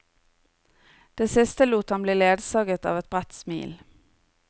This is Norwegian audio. Det siste lot han bli ledsaget av et bredt smil.